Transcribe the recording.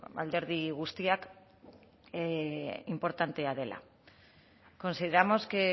alderdi guztiak inportantea dela consideramos que